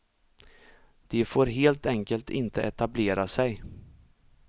De får helt enkelt inte etablera sig.